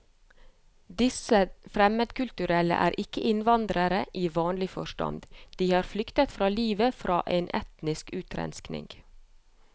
Disse fremmedkulturelle er ikke innvandrere i vanlig forstand, de har flyktet for livet fra en etnisk utrenskning.